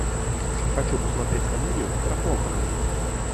хочу посмотреть комедию про похороны